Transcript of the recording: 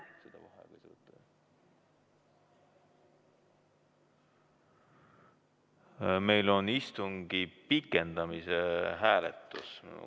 Meil on istungi pikendamise hääletus.